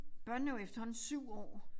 Børnene er jo efterhånden 7 år